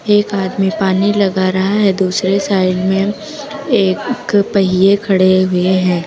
एक आदमी पानी लगा रहा है दूसरे साइड में एक पहिए खड़े हुए हैं।